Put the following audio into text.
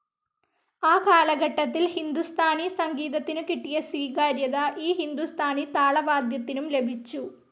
ആ കാലഘട്ടത്തിൽ ഹിന്ദുസ്ഥാനി സംഗീതത്തിനു കിട്ടിയ സ്വീകാര്യത, ഈ ഹിന്ദുസ്ഥാനി താളവാദ്യത്തിനും ലഭിച്ചു.